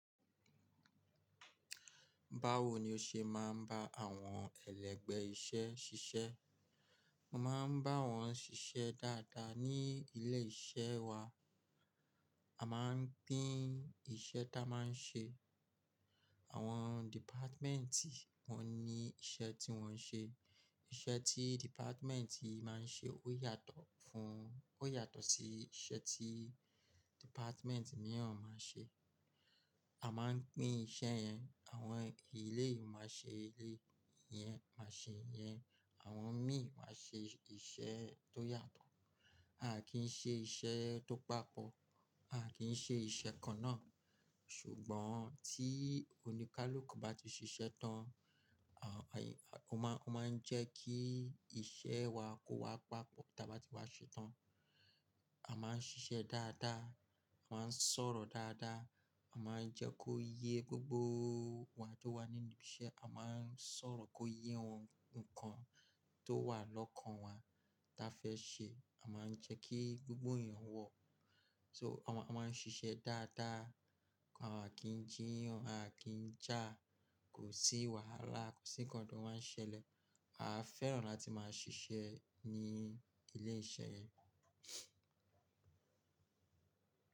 Báwo ni o ṣe máa ń bá àwọn ẹlẹgbẹ́ iṣẹ́ ṣiṣẹ́? Mo máa ń bá wọn ṣiṣẹ́ dáadáa ní ilé iṣẹ́ wa. A máa ń pín iṣẹ́ tá a máa ń ṣe. Àwọn dìpátmẹ́ntì wọ́n ní iṣẹ́ tí wọ́n ń ṣe. Iṣẹ́ tí dìpátmẹ́ntì máa ń ṣe ó yàtọ̀ fún-- ó yàtọ̀ sí iṣẹ́ tí dìpátmẹ́ntì mìíràn máa ń ṣe. A máa ń pín iṣẹ́ yẹn, àwọn eleyii máa ṣe eleyi iyẹn, màá ṣe yẹn, àwọn mìí máa ṣe iṣẹ́ tó yàtọ̀. A kì í ṣe iṣẹ́ tó papọ̀, a kì í ṣe iṣẹ́ kan náà. Ṣùgbọ́n tí oníkálukú bá ti ṣiṣẹ́ tán, à, o ma-- ó máa ń jẹ́ kí iṣẹ́ wa kó wá papọ̀ táa bá ti pári ṣe tán. A máa ń ṣiṣẹ́ dáadáa, a máa ń sọ̀rọ̀ dáadáa, a máa ń jẹ́ kó yé gbogbo wa tó wà ní ibi iṣẹ́, a máa ń sọ̀rọ̀ kó yé ohun nǹkan tó wà lọ́kàn wa táa fẹ́ ṣe, a máa ń jẹ́ kí gbogbo èèyàn gbo. So a máa ń ṣiṣẹ́ dáadáa, a kì í jí yan, a kì í jà, kò sí wàhálà, kò sí nkán tó máa ń ṣẹlẹ̀. A fẹ́ràn láti máa ṣiṣẹ́ ní ilé iṣẹ́ yẹn.